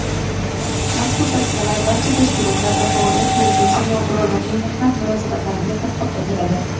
Mazkur Tavsiyalar barcha tashkilotlarda faoliyat yurituvchi nogironlarning mehnat munosabatlariga tatbiq etiladi.